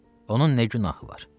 Onun nə günahı var?